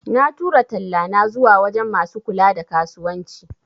Na tura tallana zuwa wajan masu kula da kasuwanci